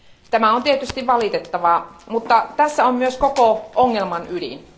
Tämä on tietysti valitettavaa, mutta tässä on myös koko ongelman ydin.